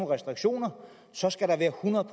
restriktioner så skal der være hundrede